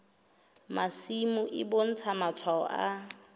masimo e bontsha matshwao a